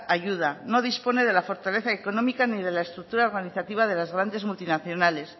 ayuda no dispone de la fortaleza económica ni de las estructura organizativa de las grandes multinacionales